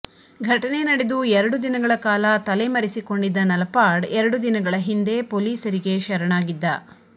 ಘಟನೆ ನಡೆದು ಎರಡು ದಿನಗಳ ಕಾಲ ತಲೆಮರೆಸಿಕೊಂಡಿದ್ದ ನಲಪಾಡ್ ಎರಡು ದಿನಗಳ ಹಿಂದೆ ಪೋಲೀಸರಿಗೆ ಶರಣಾಗಿದ್ದ